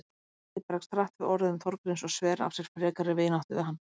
Gísli bregst hart við orðum Þorgríms og sver af sér frekari vináttu við hann.